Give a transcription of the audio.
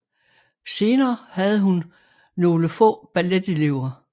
Senere havde hun nogle få balletelever